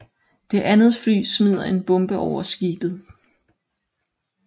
Det andet fly smider en bombe over skibet